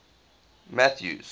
mathews